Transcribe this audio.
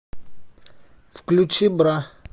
включи бра